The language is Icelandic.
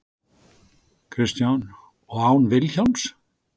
Kristján: Og án Vilhjálms?